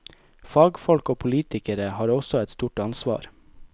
Fagfolk og politikere har også et stort ansvar.